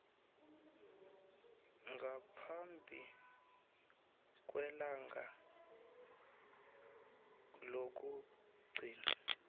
ngaphambi kwelanga lokugcina